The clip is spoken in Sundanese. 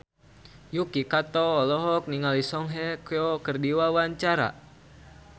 Yuki Kato olohok ningali Song Hye Kyo keur diwawancara